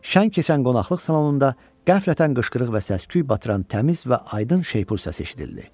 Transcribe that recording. Şən keçən qonaqlıq salonunda qəflətən qışqırıq və səs-küy batıran təmiz və aydın şeypur səsi eşidildi.